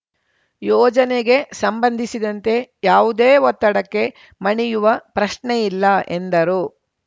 ಯೋಜನೆಗೆ ಸಂಬಂಧಿಸಿದಂತೆ ಯಾವುದೇ ಒತ್ತಡಕ್ಕೆ ಮಣಿಯುವ ಪ್ರಶ್ನೆಯಿಲ್ಲ ಎಂದರು